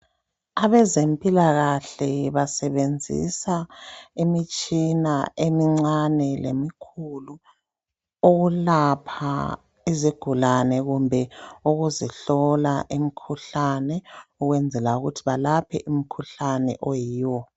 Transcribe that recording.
Abezempilakahle basebenzisa imitshina emincane lemkhulu ukulapha izigulane kumbe ukuzihlola imkhuhlane ukwenzela ukuthi balaphe umkhuhlane oyiwo.